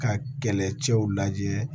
Ka kɛlɛcɛw lajɛ